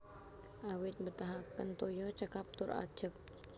Awit mbetahaken toya cekap tur ajeg